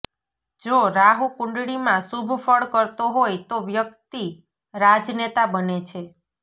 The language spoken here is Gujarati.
જો રાહુ કુંડળીમાં શુભ ફળ કરતો હોય તો વ્યક્તિ રાજનેતા બને છે